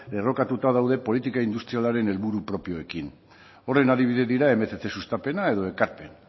enrokatuta daude politika industrialaren helburu propioekin horren adibide dira mila berrehun sustapena edo ekarpen